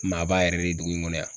Maa b'a yɛrɛ de dugu in kɔnɔ yan.